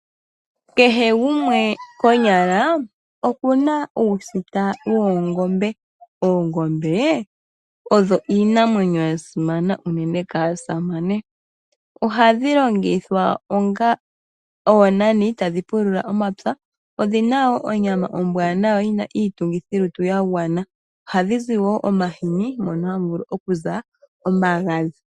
Kehe gumwe konyala okuna uusita woongombe . Oongombe odho iinamwenyo yasimana uunene kaasamane. Oha dhi longithwa onga oonani tadhi pulula omapya. Odhina woo onyama ombwaanawa yina iitungithilutu yagwana. Oha dhi zi wo omahini mono hamu vulu okuza omagadhi.